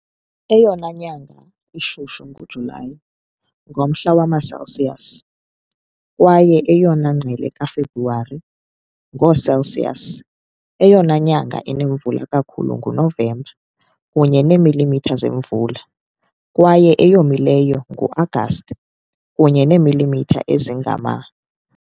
Eyona nyanga ishushu nguJulayi, ngomhla wama-Celsius, kwaye eyona ngqele kaFebruwari, ngoo-Celsius. Eyona nyanga inemvula kakhulu nguNovemba, kunye neemilimitha zemvula, kwaye eyomileyo nguAgasti, kunye neemilimitha ezingama .